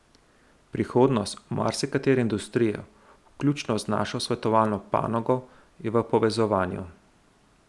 Prihodnost marsikatere industrije, vključno z našo svetovalno panogo, je v povezovanju.